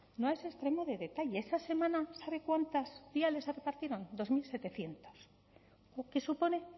no es a extremo de detalle esa semana sabe cuántas viales se repartieron dos mil setecientos lo que supone